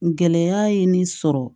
Gɛlɛya ye nin sɔrɔ